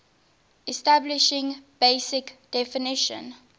establishing basic definition